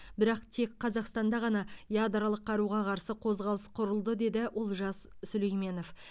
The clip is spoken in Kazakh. бірақ тек қазақстанда ғана ядролық қаруға қарсы қозғалыс құрылды деді олжас сүлейменов